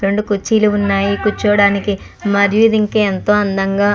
రెండు కుర్చీలు ఉన్నాయి కూర్చోడానికి మరియు ఇది ఇంకా ఎంతో అందంగా --